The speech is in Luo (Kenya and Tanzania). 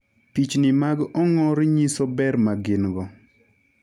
Pichni mag ong'or nyiso ber ma gin-go.